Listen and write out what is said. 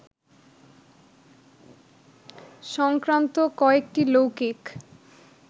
সংক্রান্ত কয়েকটি লৌকিক